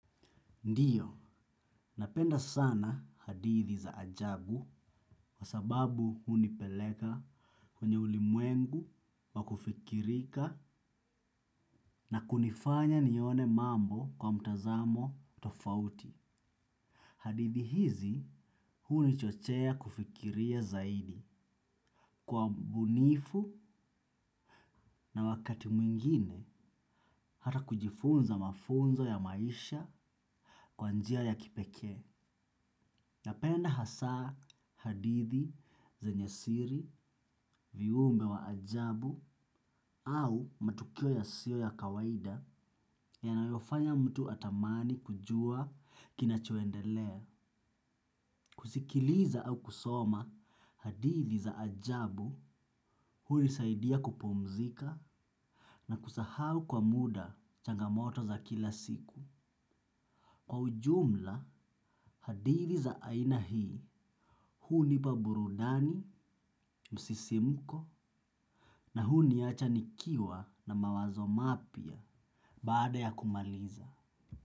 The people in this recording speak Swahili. Ndio, napenda sana hadithi za ajabu kwa sababu hunipeleka kwenye ulimwengu wa kufikirika na kunifanya nione mambo kwa mtazamo tofauti. Hadithi hizi hunichochea kufikiria zaidi, kwa ubunifu na wakati mwingine hata kujifunza mafunzo ya maisha kwa njia ya kipekee. Napenda hasaa hadithi zenye siri, viumbe wa ajabu au matukio yasiyo ya kawaida yanayofanya mtu atamani kujua kinachoendelea. Kusikiliza au kusoma hadithi za ajabu hunisaidia kupumzika na kusahau kwa muda changamoto za kila siku. Kwa ujumla, hadithi za aina hii, hunipa burudani, msisimuko, na huniacha nikiwa na mawazo mapya baada ya kumaliza.